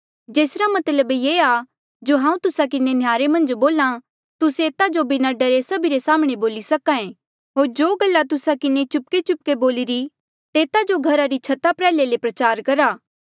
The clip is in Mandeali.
जेसरा मतलब ये आ जो हांऊँ तुस्सा किन्हें नह्यारे मन्झ बोल्हा तुस्से एता जो बिना डरे सभिरे साम्हणें बोली सके होर जो गल्ला तुस्सा किन्हें चुपकेचुपके बोलिरी तेता जो घरा री छता प्रयाह्ले ले प्रचार करा